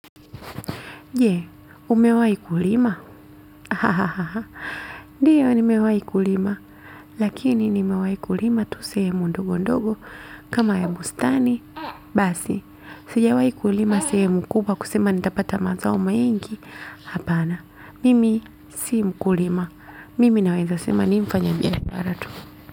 Je, umewai kulima? Hahaha. Ndiyo, nimewai kulima. Lakini, nimewai kulima tu sehemu ndogo ndogo. Kama ya bustani basi. Sijawai kulima sehemu kubwa kusema nitapata mazao mengi. Hapana. Mimi, si mkulima. Mimi naweza sema nimfanya biashara tu.